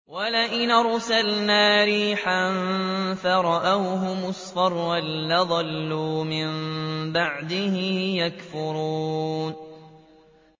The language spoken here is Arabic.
وَلَئِنْ أَرْسَلْنَا رِيحًا فَرَأَوْهُ مُصْفَرًّا لَّظَلُّوا مِن بَعْدِهِ يَكْفُرُونَ